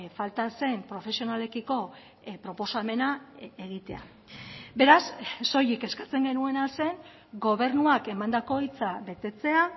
falta zen profesionalekiko proposamena egitea beraz soilik eskatzen genuena zen gobernuak emandako hitza betetzea